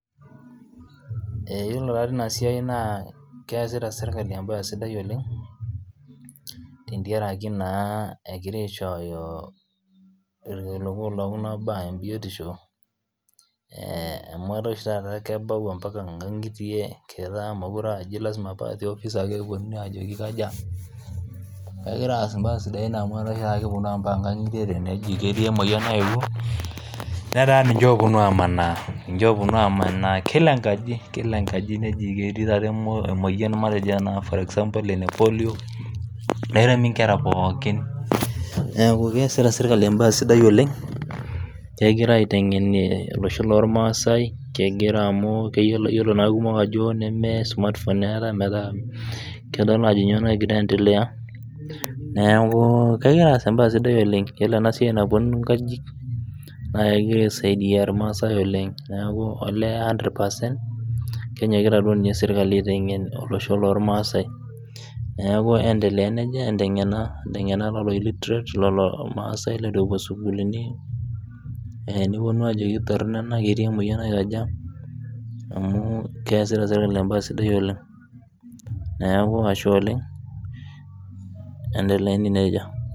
ee iyiolo tadii tina siai naa keesita serikali ebaye sidai oleng tentiaraki naa egira aishoyo ilkiliku loo ibaa ebiotisho amu etaa oshitata kebau inkangitie, keetaa mokire aa tiofice ake kegira aas ibaa sidai amu etaa oshi tata kepuonu inkang'itie teneji ketii emoyian nayeyiou, netaa niche opuonu a,manaa kila engaji neji ketii tata emoyian epolio neremi inkera pooki, neeku kegira aas ebaye sidai oleng', iyiolo enaiai napuonunni inkajijik olee kegira aisiaidiai ilmasai oleng', amu kesita serikali ebaye sidai oleng'.